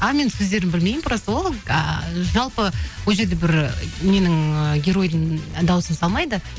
а мен сөздерін білмеймін просто ол ыыы жалпы ол жерде бір ненің ы геройдың дауысын салмайды